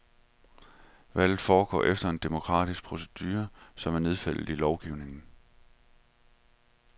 Valget foregår efter en demokratisk procedure, som er nedfældet i lovgivningen.